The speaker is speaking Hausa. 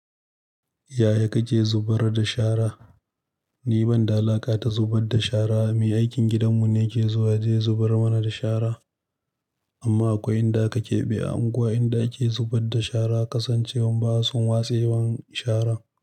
Yaya kake zubar da shara? Ni ban da alaƙa da zubar da shara. Mai aikin gidanmu ne ke zuwa yaje ya zubar mana da shara. Amma akwai inda ka keɓe a unguwa inda ake zubar da shara, kasancewan basu san watsen sharan.